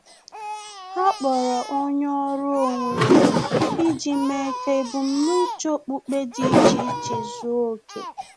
Ha kpọrọ onye ọrụ onwe iji mee ka ebum na-uche okpukpe dị iche iche zuo oke